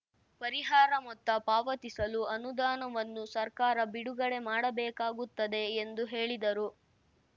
ಪರಿಹಾರ ಮೊತ್ತ ಪಾವತಿಸಲು ಅನುದಾನವನ್ನು ಸರ್ಕಾರ ಬಿಡುಗಡೆ ಮಾಡಬೇಕಾಗುತ್ತದೆ ಎಂದು ಹೇಳಿದರು